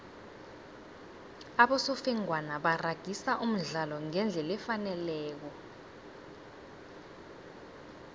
abosofengwana baragisa umdlalo ngendlela efaneleko